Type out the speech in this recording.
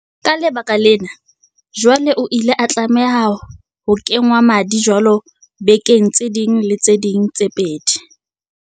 Ka lebaka lena, jwale o ile a tlameha ho kengwa madi jwalo bekeng tse ding le tse ding tse pedi.